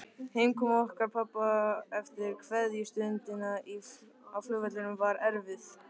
Heimkoma okkar pabba eftir kveðjustundina á flugvellinum var erfið.